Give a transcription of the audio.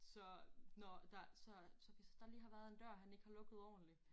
Så når der så så hvis der lige har været en dør han ikke har lukket ordentligt